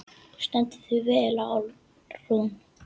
Þú stendur þig vel, Alrún!